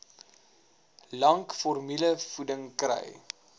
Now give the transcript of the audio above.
lank formulevoeding kry